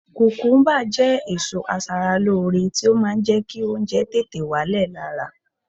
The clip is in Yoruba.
Kùkúmúbá jẹ́ èso aṣaralóore tí ó máa ń jẹ́ kí oúnjẹ tètè wálẹ̀ lára